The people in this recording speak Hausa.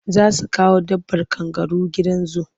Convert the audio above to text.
Za su kawo dabbar kangaru gidan zu.